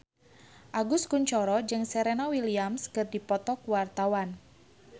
Agus Kuncoro jeung Serena Williams keur dipoto ku wartawan